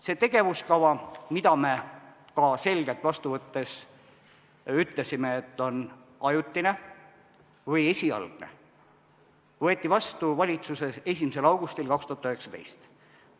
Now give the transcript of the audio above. See tegevuskava, mille kohta me seda vastu võttes ka selgelt ütlesime, et see on ajutine või esialgne, võeti valitsuses vastu 1. augustil 2019.